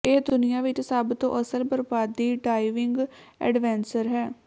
ਇਹ ਦੁਨੀਆ ਵਿਚ ਸਭ ਤੋਂ ਅਸਲ ਬਰਬਾਦੀ ਡਾਈਵਿੰਗ ਐਡਵੈਂਸਰ ਹੈ